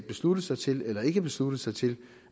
besluttet sig til eller ikke besluttet sig til